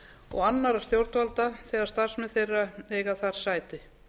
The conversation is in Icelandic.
og annarra stjórnvalda þegar starfsmenn þeirra eiga þar sæti